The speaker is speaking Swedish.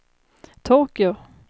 Tokyo